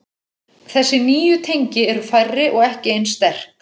Þessi nýju tengi eru færri og ekki eins sterk.